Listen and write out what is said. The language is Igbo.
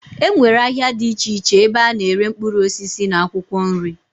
E nwere ahịa dị iche iche ebe a na-ere mkpụrụ osisi na akwụkwọ nri.